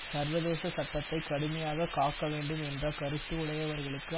சர்வதேச சட்டத்தை கடுமையாக காக்க வேண்டும் என்ற கருத்து உடையவர்களுக்கு